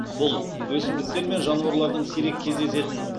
бұл өсімдіктер мен жануарлардың сирек кездесетін